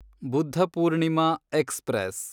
Buddha Purnima express